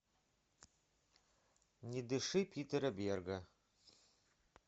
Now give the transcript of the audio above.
не дыши питера берга